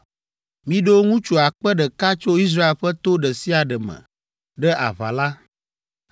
Miɖo ŋutsu akpe ɖeka tso Israel ƒe to ɖe sia ɖe me ɖe aʋa la.”